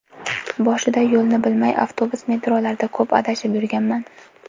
Boshida yo‘lni bilmay avtobus, metrolarda ko‘p adashib yurganman.